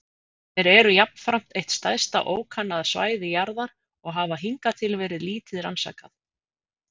Þeir eru jafnframt eitt stærsta ókannaða svæði jarðar og hafa hingað til verið lítið rannsakað.